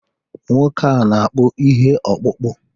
Nwoke a na-akpụ ihe ọkpụkpụ